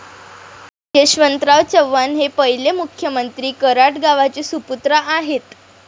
यशवंतराव चव्हाण हे पहिले मुख्यमंत्री कराड गावाचे सुपुत्र आहेत.